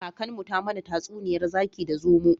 Kakanmu ta mana tatsuniyar zaki da zomo